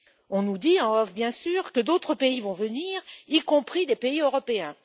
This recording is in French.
On nous dit, en off bien sûr, que d'autres pays vont venir, y compris des pays européens.